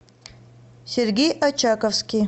сергей очаковский